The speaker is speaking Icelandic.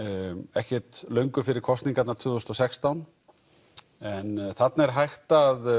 ekkert löngu fyrir kosningarnar tvö þúsund og sextán en þarna er hægt að